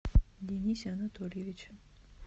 денисе анатольевиче